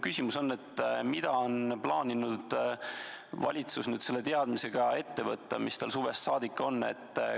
Mida on plaaninud valitsus selle teadmisega ette võtta, mis tal suvest saadik on?